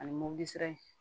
Ani mobili sira in